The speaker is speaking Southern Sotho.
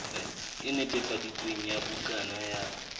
e netefaditsweng ya bukana ya